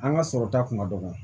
An ka sɔrɔ ta kun ka dɔgɔ